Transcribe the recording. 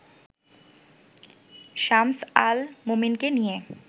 শামস আল মোমীনকে নিয়ে